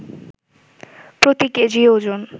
প্রতি কেজি ওজন